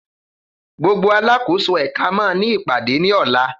Gbogbo alákòóso ẹ̀ka màa ní ìpàdé ní ọ̀la.